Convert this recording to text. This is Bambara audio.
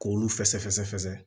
K'olu fɛsɛfɛsɛ fɛsɛ